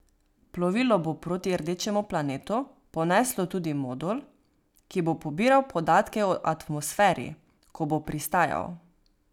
Plovilo bo proti rdečemu planetu poneslo tudi modul, ki bo pobiral podatke o atmosferi, ko bo pristajal.